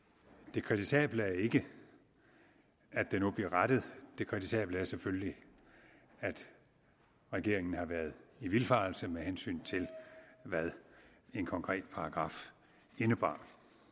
det kritisable er ikke at det nu bliver rettet det kritisable er selvfølgelig at regeringen har været i vildfarelse med hensyn til hvad en konkret paragraf indebar